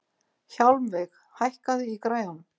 Hjálmveig, hækkaðu í græjunum.